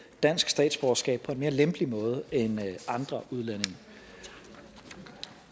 dansk statsborgerskab på en mere lempelig måde end andre udlændinge